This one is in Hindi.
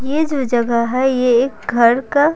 ये जो जगह है ये एक घर का --